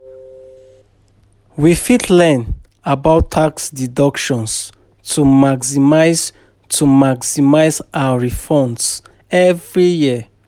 We fit learn about tax deductions to maximize to maximize our refunds every year.